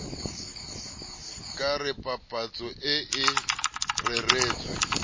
ka re papatso ee reretswe